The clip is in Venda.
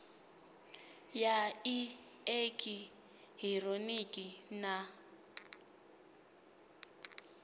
ya i eki hironiki na